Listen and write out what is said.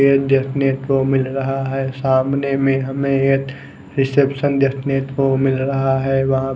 hotel देखने को मिल रहा है सामने में हमे एक रिसेप्शन देखने को मिल रहा है वहा--